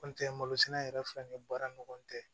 N tɛ malo sɛnɛ yɛrɛ filɛ ni baara ni ɲɔgɔn cɛ